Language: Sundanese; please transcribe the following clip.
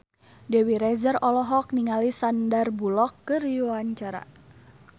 Dewi Rezer olohok ningali Sandar Bullock keur diwawancara